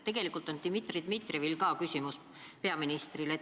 Tegelikult on ka Dmitri Dmitrijevil küsimus peaministrile.